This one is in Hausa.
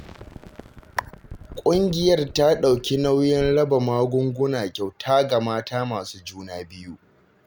Ƙungiyar ta ɗauki nauyin raba magunguna kyauta ga mata masu juna biyu